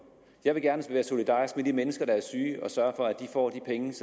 jeg vil gerne være solidarisk med de mennesker der er syge og sørge for at de får